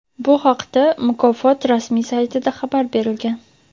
Bu haqda mukofot rasmiy saytida xabar berilgan.